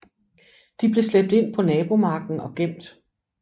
De blev slæbt ind på nabomarken og gemt